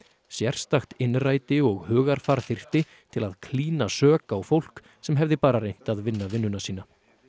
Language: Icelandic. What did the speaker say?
sérstakt innræti og hugarfar þyrfti til að klína sök á fólk sem hefði bara reynt að vinna vinnuna sína